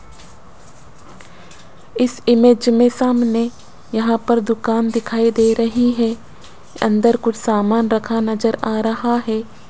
इस इमेज में सामने यहां पर दुकान दिखाई दे रही है अंदर कुछ सामान रखा नजर आ रहा है।